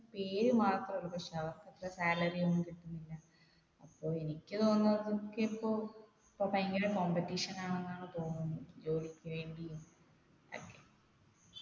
പേരുമാത്ര ഉള്ളു പക്ഷേ അവർക്കൊക്കെ salary ഒന്നും കിട്ടുന്നില്ല അപ്പോ എനിക്ക് തോന്നുന്നത് ഒക്കെ ഇപ്പോ ഇപ്പോ ഭയങ്കര competition ആണെന്നാണ് തോന്നുന്ന് ജോലിക്ക് വേണ്ടിയും